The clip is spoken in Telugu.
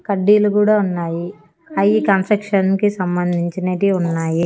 కడ్డీలు కూడా ఉన్నాయి అయ్యి కన్స్ట్రక్షన్ కి సంబంధించినటివి ఉన్నాయి.